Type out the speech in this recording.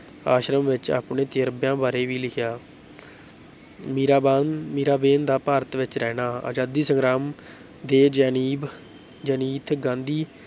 ਆਸ਼ਰਮ ਵਿੱਚ ਆਪਣੇ ਤਜ਼ਰਬਿਆਂ ਬਾਰੇ ਵੀ ਲਿਖਿਆ ਮੀਰਾਬਾਨ ਮੀਰਾਬੇਨ ਦਾ ਭਾਰਤ ਵਿੱਚ ਰਹਿਣਾ, ਆਜ਼ਾਦੀ ਸੰਗਰਾਮ ਦੇ ਜੈਨੀਬ ਜ਼ੈਨੀਥ ਗਾਂਧੀ